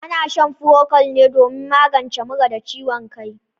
Ana shan furokwal ne domin magance mura da ciwon kai.